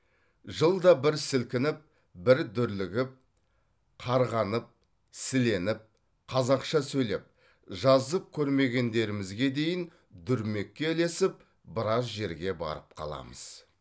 жылда бір сілкініп бір дүрлігіп қарғанып сіленіп қазақша сөйлеп жазып көрмегендерімізге дейін дүрмекке ілесіп біраз жерге барып қаламыз